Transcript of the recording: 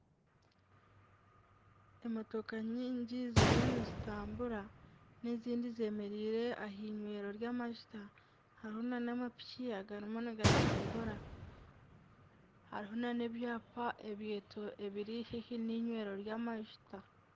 Emotoka nyingi ziriyo nizitambura n'ezindi zemereire ah'inywero ry'amashuta hariho nana amapiki agarimu nigatambura hariho nana ebyapa ebiri haihi n'inywero ry'amashuta.